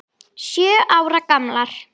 Sjö ára gamlar.